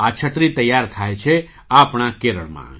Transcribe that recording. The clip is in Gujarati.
આ છત્રી તૈયાર થાય છે આપણા કેરળમાં